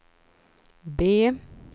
B